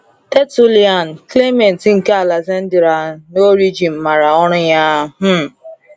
Tertullian, Clement nke Alexandria, na Origen maara ọrụ ya. um